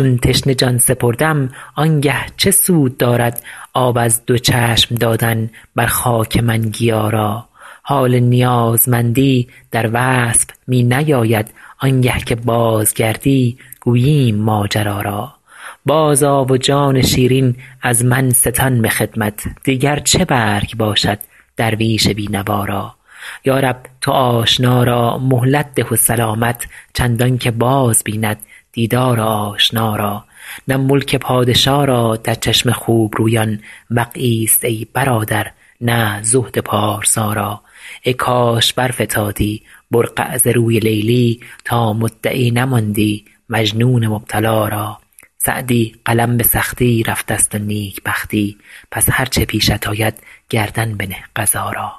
چون تشنه جان سپردم آن گه چه سود دارد آب از دو چشم دادن بر خاک من گیا را حال نیازمندی در وصف می نیاید آن گه که بازگردی گوییم ماجرا را بازآ و جان شیرین از من ستان به خدمت دیگر چه برگ باشد درویش بی نوا را یا رب تو آشنا را مهلت ده و سلامت چندان که باز بیند دیدار آشنا را نه ملک پادشا را در چشم خوب رویان وقعی ست ای برادر نه زهد پارسا را ای کاش برفتادی برقع ز روی لیلی تا مدعی نماندی مجنون مبتلا را سعدی قلم به سختی رفته ست و نیک بختی پس هر چه پیشت آید گردن بنه قضا را